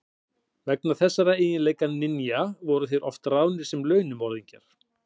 Vegna þessara eiginleika ninja voru þeir oft ráðnir sem launmorðingjar.